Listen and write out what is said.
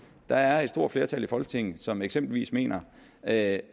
der er et stort flertal i folketinget som eksempelvis mener at